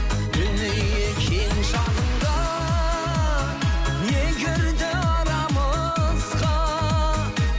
дүние кең шағында не кірді арамызға